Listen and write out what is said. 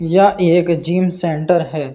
यह एक gym centre हैं।